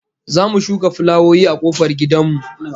Za mu shuka fulawoyi a kofar gidan mu